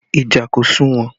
Ìjà kò sunwon